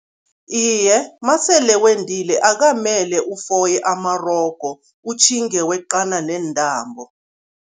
Iye, masele wendile akukamele ufoye amarogo, utjhinge weqana neentambo.